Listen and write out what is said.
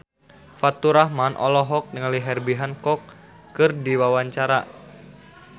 Faturrahman olohok ningali Herbie Hancock keur diwawancara